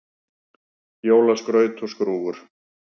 Jólaskraut og skrúfur